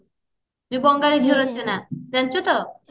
ଯୋଉ ବଙ୍ଗାଳି ଝିଅ ରଚନା ଜାଣିଛୁ ତ